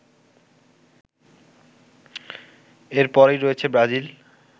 এর পরেই রয়েছে ব্রাজিল